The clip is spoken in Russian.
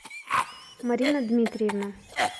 марина дмитриевна